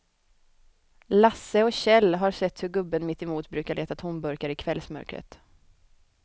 Lasse och Kjell har sett hur gubben mittemot brukar leta tomburkar i kvällsmörkret.